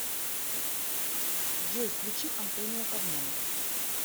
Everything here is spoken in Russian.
джой включи антонио кармона